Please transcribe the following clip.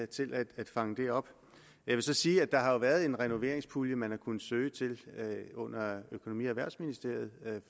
til at fange det op jeg vil så sige at der jo har været en renoveringspulje man har kunnet søge under økonomi og erhvervsministeriet